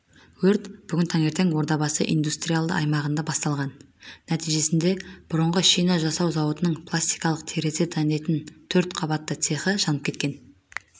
өрт бүгін таңертең ордабасы индустриялды аймағында басталған нәтижесінде бұрынғы шина жасау зауытының пластикалық терезе дайындайтын төрт қабатты цехі жанып кеткен